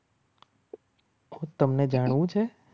તમને જાણવું છે.